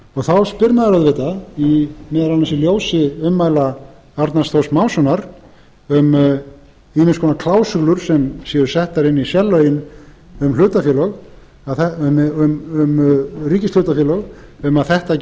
þá spyr maður auðvitað meðal annars í ljósi ummæla arnar þórs mássonar um ýmiss konar klásúlur sem séu settar inn í sérlögin um ríkishlutafélög um að þetta